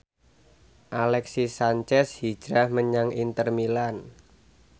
Alexis Sanchez hijrah menyang Inter Milan